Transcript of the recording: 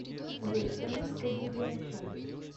сбер сатанинская библия о чем